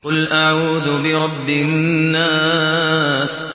قُلْ أَعُوذُ بِرَبِّ النَّاسِ